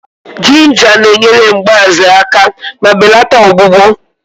Jinja na-enyere mgbaze aka ma belata ọgbụgbọ